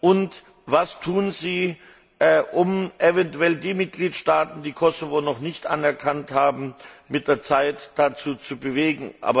Und was werden Sie tun, um eventuell die Mitgliedstaaten, die den Kosovo noch nicht anerkannt haben, mit der Zeit dazu zu bewegen?